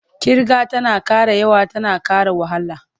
Ƙirga tana ƙara yawa tana ƙara wahala.